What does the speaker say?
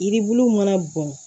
Yiribulu mana bɔn